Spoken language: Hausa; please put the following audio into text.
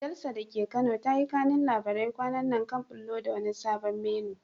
Jalsa da ke Kano ta yi kanun labarai kwanan nan kan ɓullo da wani sabon menu.